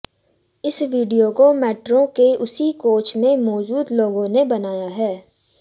इस विडियो को मैट्रो के उसी कोच में मौजूद लोगों ने बनाया है